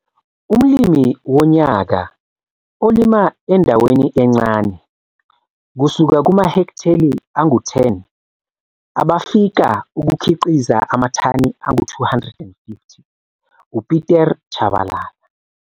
Umlimi Wonyaka olima endaweni encane, kusuka kumahektheli angu-10 abafika ukukhiqiza amathani angu-250, uPieter Chabalala.